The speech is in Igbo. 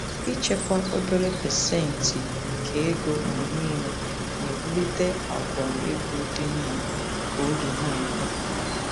Ịchekwa obere pasentị nke ego mgbe niile na-ewulite àgwà ego dị mma ka oge na-aga.